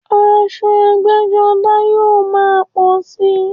Aṣọ ẹgbẹ́-jọdá yóò máa pọ̀ síi.